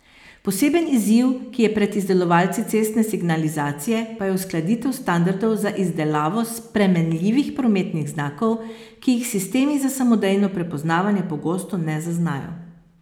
Poseben izziv, ki je pred izdelovalci cestne signalizacije pa je uskladitev standardov za izdelavo spremenljivih prometnih znakov, ki jih sistemi za samodejno prepoznavanje pogosto ne zaznajo.